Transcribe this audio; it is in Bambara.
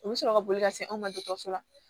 U bɛ sɔrɔ ka boli ka se anw ma dɔgɔtɔrɔso la